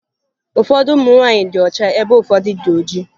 Ụfọdụ ụmụ nwaanyị dị ọcha ebe ụfọdụ dị oji